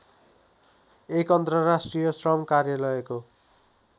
१ अन्तर्राष्ट्रिय श्रम कार्यालयको